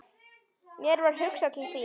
Mér varð hugsað til þín.